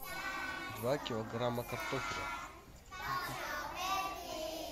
два килограмма картофеля